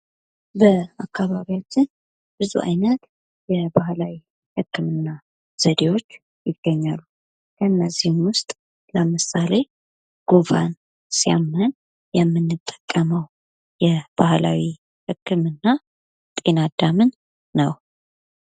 በአካባቢያችን ብዙ አይነት የባህላዊ ህክምና ዘዴዎች ይገኛሉ። ከነዚህም ውሰጥ ለምሳሌ ጉንፋን ሲያመን የምንጠቀመው የባህላዊ ህክምና ጤና አዳምን ነው።